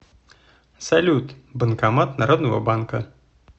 салют банкомат народного банка